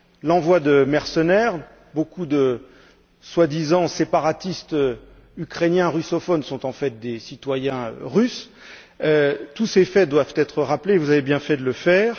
l'envoi de mercenaires, beaucoup de soi disant séparatistes ukrainiens russophones qui sont en fait des citoyens russes. Tous ces faits doivent être rappelés vous avez bien fait de le faire.